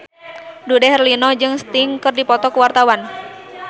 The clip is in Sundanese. Dude Herlino jeung Sting keur dipoto ku wartawan